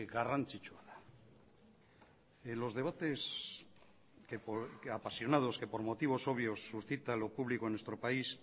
garrantzitsua da los debates apasionados que por motivos obvios suscita lo público en nuestro país